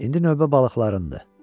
İndi növbə balıqlarındır.